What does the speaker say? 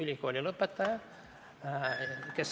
Kolm lisaminutit.